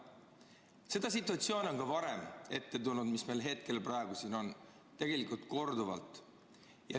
Seda situatsiooni on ka varem ette tulnud, mis meil praegu siin on, tegelikult korduvalt.